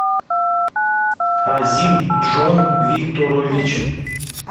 азим джон викторович